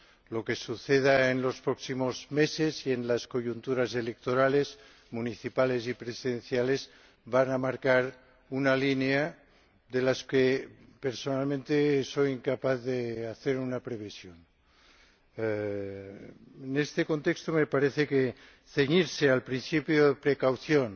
Lo que suceda en los próximos meses y en las coyunturas electorales municipales y presidenciales va a marcar una línea de la que personalmente soy incapaz de hacer una previsión. En este contexto, me parece que ceñirse al principio de precaución,